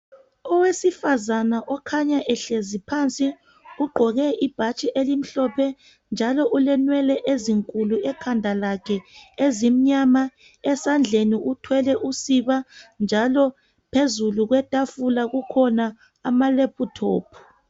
Owesifazana okhanya ehlezi phansi, ugqoke ibhatshi elimhlophe njalo ulenwele ezinkulu ekhanda lakhe ezimnyama. Esandleni uthwele usiba njalo phezulu kwetafula kukhona amalephuthophu.